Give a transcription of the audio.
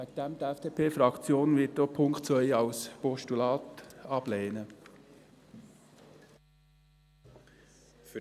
Deshalb: Die FDP-Fraktion wird auch den Punkt 2 als Postulat ablehnen.